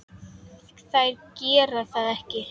Þær gera það ekki.